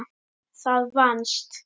Það vannst.